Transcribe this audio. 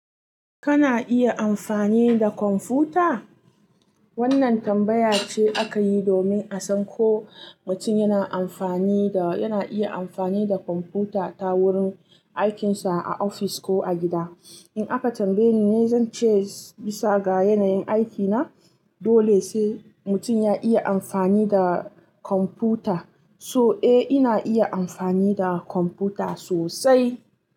Kana iya amfani da kwamfuta? Wannan tambaya ce aka yi domin a san ko mutum yana amfani da, yana iya amfani da kwamfuta ta wurin aikinsa a ofis ko a gida. In aka tambaye ni, zan ce bisa ga yanayin aikina, dole sai mutum ya iya amfani da kwamfuta. So eh, ina iya amfani da kwamfuta sosai.